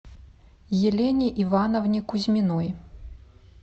елене ивановне кузьминой